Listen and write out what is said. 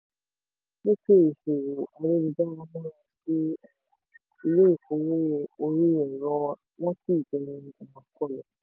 ìlọsókè ìṣòwò ayélujára múra sí um ilé-ìfowópamọ́ orí-ẹ̀rọ wọn sì dẹnu um kọlẹ̀.